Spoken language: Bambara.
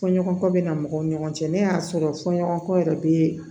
Fɔɲɔgɔnkɔ bɛ na mɔgɔw ni ɲɔgɔn cɛ n'a y'a sɔrɔ fɔɲɔgɔnkɔ yɛrɛ bɛ